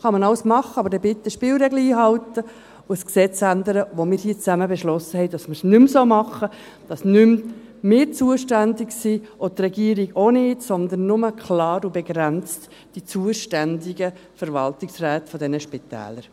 Dies kann man machen, aber bitte die Spielregeln einhalten und ein Gesetz ändern, für welches wir beschlossen hatten, dass wir es nicht mehr so machen, dass nicht mehr wir zuständig sind, auch nicht die Regierung, sondern nur klar und begrenzt die zuständigen Verwaltungsräte dieser Spitäler.